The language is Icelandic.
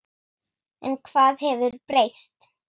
En hvað hefur breyst?